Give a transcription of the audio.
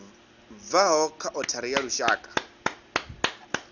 bvaho kha othari ya lushaka